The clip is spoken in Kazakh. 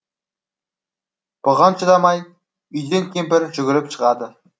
бұған шыдамай үйден кемпір жүгіріп шығады